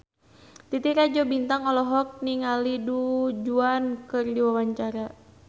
Titi Rajo Bintang olohok ningali Du Juan keur diwawancara